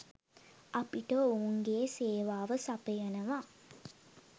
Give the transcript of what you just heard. අපිට ඔවුන්ගේ සේවාව සපයනවා